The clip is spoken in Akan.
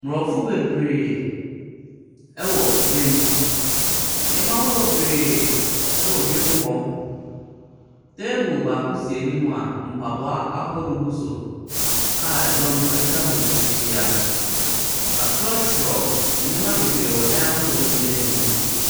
Nkurɔfo bebree wɔ dwam. Nneɛma ahodoɔ bebree wɔ dwam hɔ. Table baako si anim a mpaboa ahorow gu so a ɛdɔm akwa ho ahyia. Wɔatwerɛ nneɛma bebree wɔ dan ahodoɔ no bi anim.